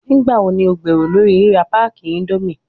Nigbawo ni o gbero lori rira packi indomie?